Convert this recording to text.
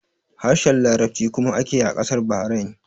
Harshen Larabci kuma ake yi a ƙasar Bahrain